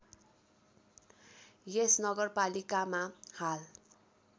यस नगरपालिकामा हाल